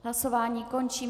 Hlasování končím.